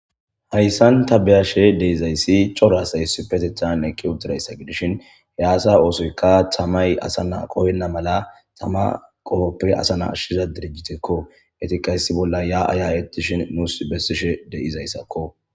Hayssan ta beyashe dizayssi cora asay issipetetan eeqi uuttidayssa giddishin asa oosoykka taamay asa na qohenna mala taama qoohoppe asa na ashiza dirijjittekko.eettikka issi bolla yaa'a ya'etishin nuus besishe de'izayssakko